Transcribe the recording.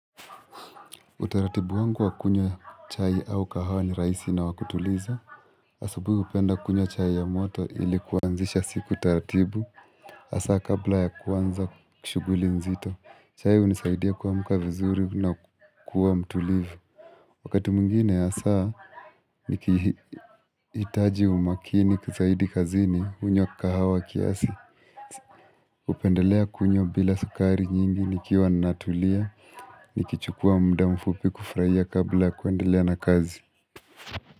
Utaratibu wangu wa kunywa chai au kahawa ni raisi na wa kutuliza asubuhi hupenda kunywa chai ya moto ili kuanzisha siku taratibu Hasa kabla ya kuanza ku shuguli nzito chai hunisaidia kuamka vizuri na kuwa mtulivu Wakati mwingine hasa nikihitaji umakini kizaidi kazini hunywa kahawa kiasi hupendelea kunywa bila sukari nyingi nikiwa natulia Nikichukua mda mfupi kufrahia kabla ya kuendelea na kazi.